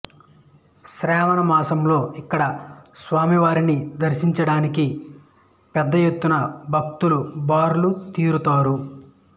శ్రావణమాసంలో ఇక్కడ స్వామి వారిని దర్శించడానికి పెద్ద ఎత్తున భక్తులు బారులు తీరుతారు